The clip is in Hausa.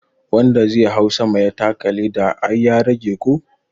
Wanda zai hau sama ya taka leda ai ya rage ko?